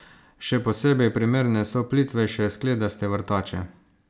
Še posebej primerne so plitvejše skledaste vrtače.